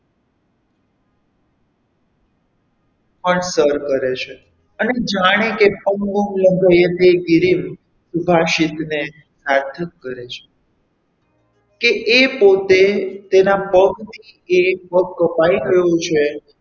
પણ સર કરે છે અને જાણે કે વિભાસિત ને સાર્થક કરે છે કે એ પોતે તેનાં પગની એક પગ કપાઈ ગયો છે.